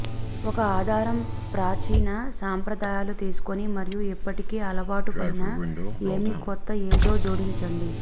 ఒక ఆధారం ప్రాచీన సంప్రదాయాలు తీసుకొని మరియు ఇప్పటికే అలవాటు పడిన ఏమి కొత్త ఏదో జోడించండి